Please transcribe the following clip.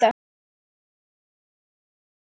Já, hann spyr að því?